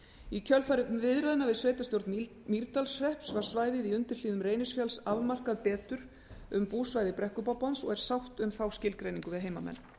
í kjölfar viðræðna við sveitarstjórn mýrdalshrepps var svæðið í undirhlíðum reynisfjalls afmarkað betur um búsvæði brekkubobbans og er sátt um þá skilgreiningu við heimamenn